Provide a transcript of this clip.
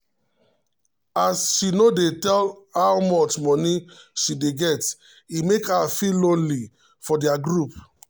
as she no dey tell how much money she dey get e make her feel lonely for their group.